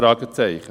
– Fragezeichen.